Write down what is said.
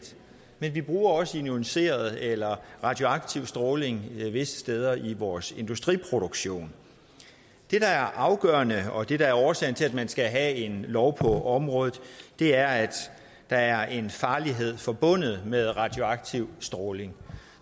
men vi bruger også ioniserende eller radioaktiv stråling visse steder i vores industriproduktion det der er afgørende og det der er årsagen til at man skal have en lov på området er at der er en farlighed forbundet med radioaktiv stråling